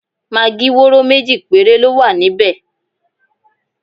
Magí wóró méjì péré ló wà níbẹ̀.